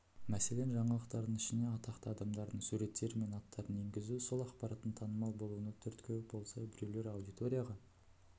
мәселен жаңалықтардың ішіне атақты адамдардың суреттері мен аттарын енгізу сол ақпараттың танымал болуына түрткі болса біреулер аудиторияға